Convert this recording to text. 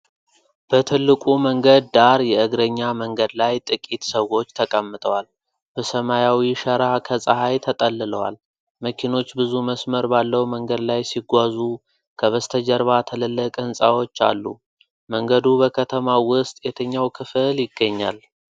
በትልቁ መንገድ ዳር የእግረኛ መንገድ ላይ ጥቂት ሰዎች ተቀምጠዋል፣ በሰማያዊ ሸራ ከፀሐይ ተጠልለዋል። መኪኖች ብዙ መስመር ባለው መንገድ ላይ ሲጓዙ ከበስተጀርባ ትልልቅ ሕንፃዎች አሉ። መንገዱ በከተማው ውስጥ የትኛው ክፍል ይገኛል?